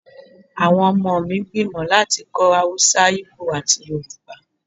Awọn ọmọ mi n gbimọ lati kó̩ Awúsá, íbò ati Yoruba